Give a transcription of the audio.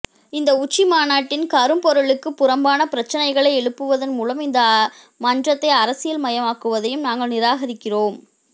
இந்த உச்சிமாநாட்டின் கருப்பொருளுக்கு புறம்பான பிரச்சினைகளை எழுப்புவதன் மூலம் இந்த மன்றத்தை அரசியல் மயமாக்குவதையும் நாங்கள் நிராகரிக்கிறோம்